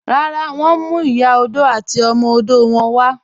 Rárá, wọn ǹ mú Ìyà ọdọ̀ àti ọmọ ọdọ̀ wọn wà